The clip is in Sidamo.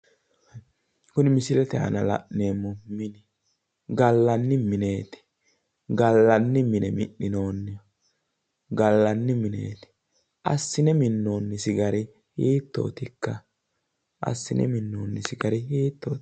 kunni misilete aana la'neemmohu mini gallanni mineti gallani mine minnonihu assine minonnisi gari hittotikka?